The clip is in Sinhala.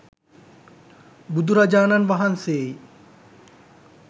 බුදුරජාණන් වහන්සේයි.